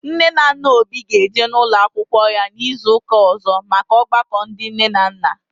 Nne na nna Obi ga eje n'ụlọ akwụkwọ ya n'izu ụka ọzọ maka ọgbakọ ndị nne na nna